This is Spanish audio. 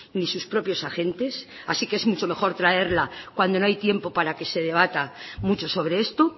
ni sus propios agentes así que es mucho mejor traerla cuando no hay tiempo para que se debata mucho sobre esto